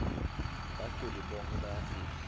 baculi bonkhe bayafika